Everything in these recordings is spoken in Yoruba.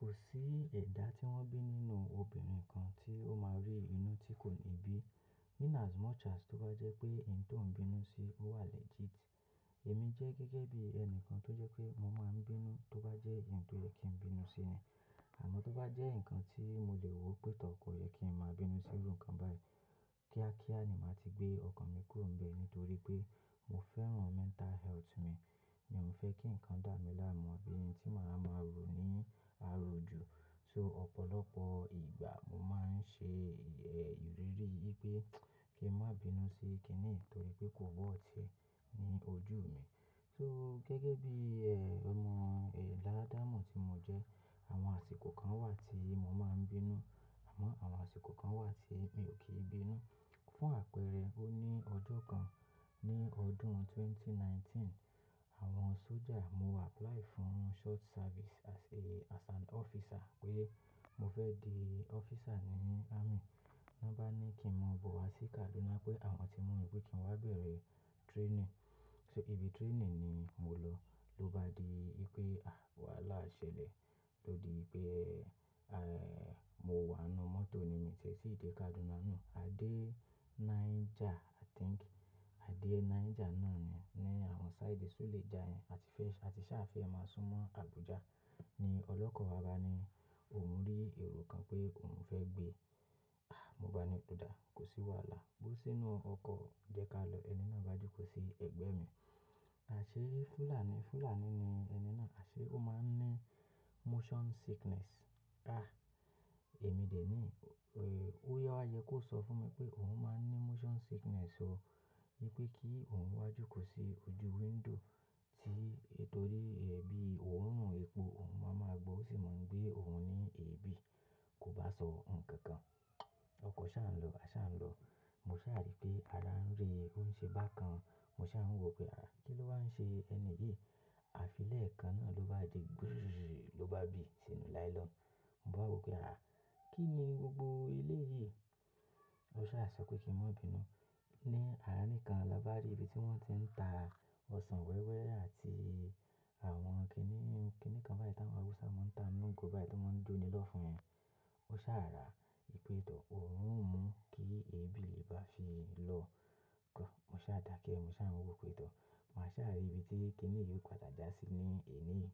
Kò sí ẹ̀dà tí wọ́n bí nínú obìnrin kan tí ó máa rí inú tí kò ní bí. In as much as tó bá jẹ́ pé ohun tó ń bínú sí ó wà legit. Èmi jẹ́ gẹ́gẹ́ bí ẹni kan tó jẹ́ pé mo máa ń bínú tó bá jẹ́ ohun tó yẹ kí n bínú sí ni. Àmọ́ tó bá jẹ́ nǹkan tí mo lè wò pẹ̀ tọ́ kò yẹ kí n máa bínú sí irú nǹkan báyìí. Kíákíá ni màá ti gbé ọkàn mi kúrò ni bẹ́ẹ̀ nítorí pé mo fẹ́ràn mental health mi. Mi ò fẹ́ kí nǹkan dà mí láàmú bí i ohun tí màá máa rò ní àrọ̀jú. So ọ̀pọ̀lọpọ̀ ìgbà mo máa ń ṣe ìyè ìrírí wí pé kí n má bínú sí kíni i nítorí pé kò wọ̀rthí ẹ ní ojú mi. So gẹ́gẹ́ bí ẹ omọ̀ edá adàmọ̀ tí mo jẹ́, àwọn àsìkò kan wà tí mo máa ń bínú, àmọ́ àwọn àsìkò kan wà tí mi ò kí bínú. Fún àpẹẹrẹ, ó ní ọjọ́ kan ní ọdún 2019, àwọn sójà mo apply fún short service as a-- as an officer pé mo fẹ́ di officer ní army. Wọ́n wá ní kí n maa bọ̀ wá sí Kaduna pé àwọn ti mú mi pé kí n wá bẹ̀rẹ̀ training. So ibi training ni mo lọ. Ló bá di wípé, à wàhálà ṣẹlẹ̀ ló di wípé, mo wà nu mọ́tò ni mi n ti ẹ̀ tìdè Kaduna náà. A dé Niger I think, a dé Niger náà ni ni àwọn side súlèjà yẹn àti fẹ́-- àti sá fẹ́ máa sún mọ́ Abuja. Ni ọlọ́kọ̀ wa bá ní òun rí èrò kan pé òun fẹ́ gbé. Ah! Mo bá ní òdà, kò sí wàhálà. Gbe sínú ọkọ̀ jẹ́ ká lọ. Ẹni náà bá jokò sí ẹ̀gbẹ́ mi. À ṣé! Fulani, Fulani ni ẹni náà. À ṣé! Ó máa ń ní motion sickness. Ah! Èmi dè ní, ó ya o wá yẹ kó sọ fún mi pé òun máa ń ní motion sickness o. Wípé kí òun wá jokò sí ojú window tí nítorí bí òun oorùn epo òun máa ma gbọ́, ó sì máa ń gbé òun ní èébì, kò bá sọ ǹkan kan. Ọkọ̀ sá ń lọ, a sá ń lọ. Mo sá rí pé ara ń re, ó ń ṣe bákan. Mo sá ń wò pé a á kí ló wá ń ṣe ẹni yìí? Afilẹ̀ lẹ́kan náà ló bá di gbri i i ló bá bì sínú nylon. Mo bá wò pé a á kíni gbogbo elé yìí? Ó sá sọ pé kí n má bínú. Ni arin kan la bá rí ibi tí wọ́n ti ń ta ọsàn wẹ́wẹ́ rà àti àwọn kíni, kíni kan báyìí táwọn Hausa máa ń ta inú igo báyìí tó máa ń jo ni lọ́fun. Ó sá à ra wìpẹ́ tọ́, òun ò mú kí èébì lè bá a fi lọ. Tọ́, mo sá dàke, mo sá wò pé tọ́. Maa sá rí ibi tí kíni yìí ó padà já sí ní èní yii.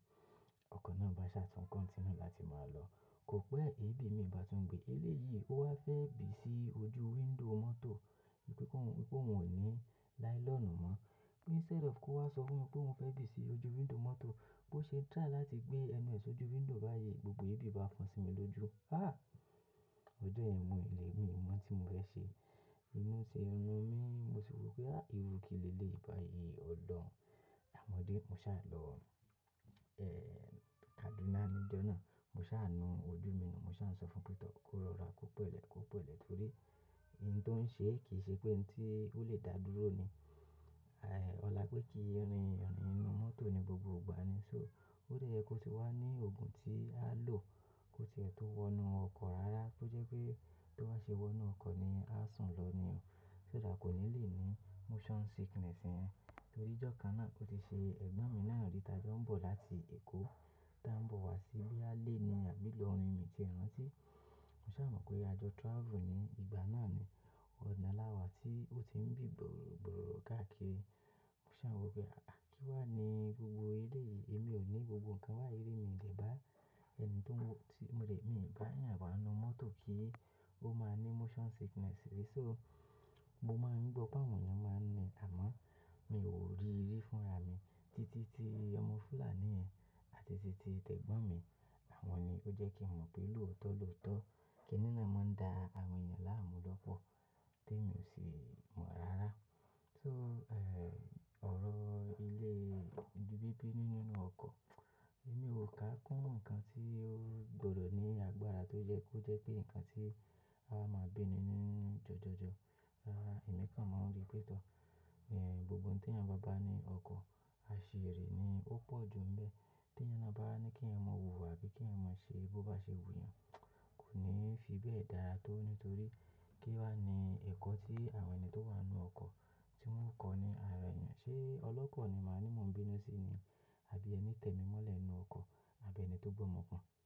Ọkọ̀ náà bá sá tún continue láti máa lọ. Kò pé e, èébì mi bá tún gbé elé yìí ó wá fẹ́ bì sí ojú window mọ́tò. Wípé kó-- kó òun wọ̀ ní nylon mọ́. Instead of kó wá sọ fún mi pé òun fẹ́ bì sí ojú window mọ́tò, kó ṣe try láti gbé ẹnu ẹ sí ojú window báyìí gbogbo èébì bá fọ́n sí mi lójú. Ah! Ọjọ́ yẹn mi nle mi n mo ohun tí mo lẹ́ ṣe. Inú ṣe run mi, mo sì wò pé ah irú kí léleyìí báyìí iwo oloun. Àmọ́dé mo sá lọ, eh Kaduna lọ́jọ́ náà. Mo sá nu ojú mi nù, mo sá ń sọ fún pé tọ́ kó rọra, kó pẹ̀lẹ́, kó pẹ̀lẹ́ torí ohun tó ń ṣe e kì í ṣe pé ohun tí ó lè dà dúró ni. Eh ọlá pé kí rin irin inu mọ́tò ni gbogbo ìgbà ni. So ó dẹ yẹ kó ti wá ní òògùn tí a lò kó ti ẹ tó wọnú ọkọ̀ rárá, tó jẹ́ pé tó bá ṣe wọnú ọkọ̀ ni a sùn lọ ní o. So that kò ní lè ní motion sickness yẹn. Nítorí ni jọ́ kan náà ò ti ṣe ẹ̀gbọ́n mi náà ri tá ń jo bọ̀ láti Èkó tá ń bọ̀ wá sí boya ile ni tabí ilọrin mi ti e rántí. Mo sá mọ̀ pé a jọ travel ní ìgbà náà ni. Ọ̀nà lá wa tí ó ti ń bì gbru gbru káàkiri. Mo sá wò pé a a kí wà ní gbogbo elé yìí, èmi ò ní gbogbo nǹkan báyìí mi dè bá ẹni tí nwo ti-- mo le mi bá yàn wá nu mọ́tò tí ó máa ní motion sickness rí. So mo máa ń gbọ́ páwọn èèyàn máa ń ní àmọ́ mi ò rí rí fún ra mi títí tí ọmọ Fulani yẹn àti títí tẹ gbọ́n mi. Àwọn ni ó jẹ́ kí n mọ̀ pé lóòótọ́ lóòótọ́ kíni náà máa ń da àwọn èèyàn láàmú lọ́pọ̀ tí èmi ò sì mọ̀ rárá. So eh ọ̀rọ̀ ilé inúbíbíi nínú ọkọ̀, èmi ò ká kúrò ǹnkan tí ó gbòdò ní agbára tó jẹ́ kó jẹ́ pé ǹkan tí a máa ń bíi nínú jọ̀jọ̀ jọ. Rárá, èmi kan máa ń rí pé tọ́. Eh gbogbo ohun tí èèyàn bá bá ní ọkọ̀, àṣíere ni ó pọ̀ ju ń bẹ́ẹ̀. Tí èèyàn bá ní kí ẹ̀ mọ wùwà bí kí ẹ̀ mọ ṣe bó bá ṣe wù yàn, kò ní fi bẹ́ẹ̀ dára tó nítorí kí wà ní ẹ̀kọ́ tí àwọn omo tó wà nínú ọkọ̀ tí wọ́n kọ́ ni ara èèyàn. Ṣé ọlọ́kọ̀ ni màá ní mo ń bínú sí ni? Àbí ẹni tẹ̀mí mọ́lẹ̀ inú ọkọ̀? Àbí ẹni tó gbọ̀mọ́ pọn?